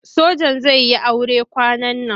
Sojan zai yi sure kwanan nan.